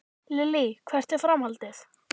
Lillý: Hvert er framhaldið?